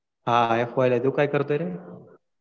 हा आता एफ वायला आहे. तू काय करतोय रे?